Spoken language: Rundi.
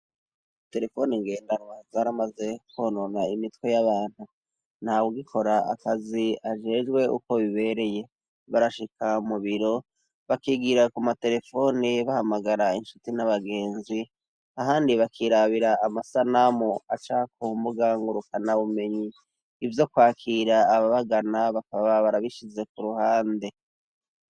Terefoni ngendarwa zaramaze kwonona imitwe y'abantu ntawugikora akazi ajejwe uko bibereye ,barashika mubiro bakigira ku materefone bahamagara inshuti n'abagenzi ahandi bakirabira amasanamu acaka kumbuga ngurukana bumenyi ivyo kwakira ababagana bakaba barabishize ku ruhande.